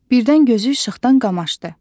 Birdən gözü işıqdan qamaşdı.